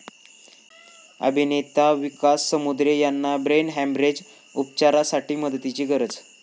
अभिनेता विकास समुद्रे यांना brain haemorrhage, उपचारासाठी मदतीची गरज